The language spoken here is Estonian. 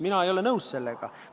Mina ei ole sellega nõus.